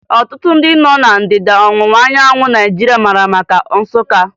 Ọtụtụ ndị nọ ná Ndịda Ọwụwa anyanwụ Naijiria mara maka Nsụka